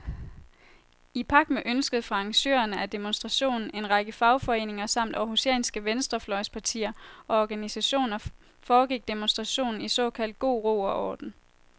I pagt med ønsket fra arrangørerne af demonstrationen, en række fagforeninger samt århusianske venstrefløjspartier og organisationer, foregik demonstrationen i såkaldt god ro og orden.